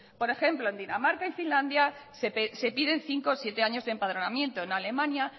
por ejemplo en dinamarca y finlandia se piden cinco o siete años de empadronamiento en alemania